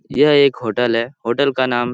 यह एक होटल है होटल का नाम --